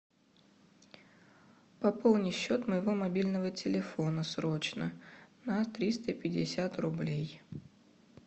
пополни счет моего мобильного телефона срочно на триста пятьдесят рублей